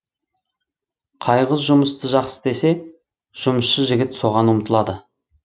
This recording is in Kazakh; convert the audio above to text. қай қыз жұмысты жақсы істесе жұмысшы жігіт соған ұмтылады